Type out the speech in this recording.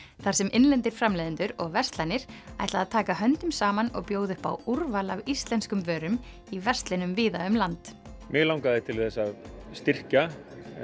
þar sem innlendir framleiðendur og verslanir taka höndum saman og bjóða upp á úrval af íslenskum vörum í verslunum víða um land mig langaði til þess að styrkja